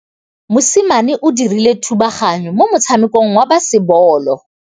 Mosimane o dirile thubaganyô mo motshamekong wa basebôlô.